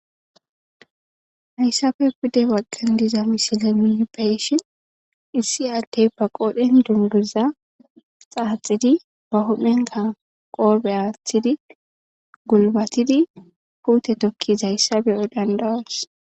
hayssappe pude baqqan diza misile nuuni be'shin issi addey ba qoodhen dunguzza xaaxidi ba huphenka qoophe aathidi gulbatidi puute tokkizayssa be'o danda'os.